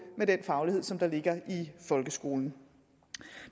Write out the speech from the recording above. med den faglighed som der ligger i folkeskolen